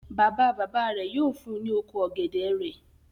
Bàbá-bàbá rẹ̀ yóò fun ní oko ọ̀gẹ̀dẹ̀ rẹ̀.